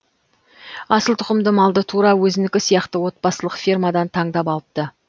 асыл тұқымды малды тура өзінікі сияқты отбасылық фермадан таңдап алыпты